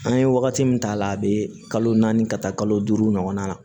An ye wagati min k'a la a bɛ kalo naani ka taa kalo duuru ɲɔgɔnna na